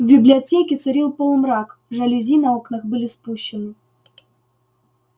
в библиотеке царил полумрак жалюзи на окнах были спущены